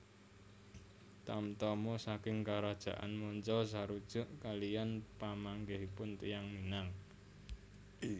Tamtama saking karajaan manca sarujuk kaliyan pamanggihipun tiyang Minang